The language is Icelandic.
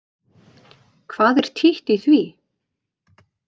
Hvað er títt í því?